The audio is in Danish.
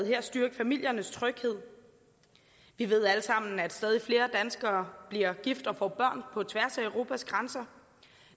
her styrke familiernes tryghed vi ved alle sammen at stadig flere danskere bliver gift og får børn på tværs af europas grænser